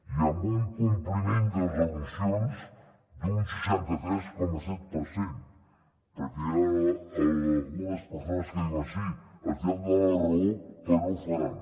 i amb un compliment de resolucions d’un seixanta tres coma set per cent perquè hi ha algunes persones que diuen sí els hi han donat la raó però no ho faran